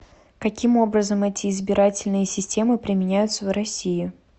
каким образом эти избирательные системы применяются в россии